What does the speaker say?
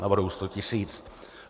Navrhuji 100 tisíc.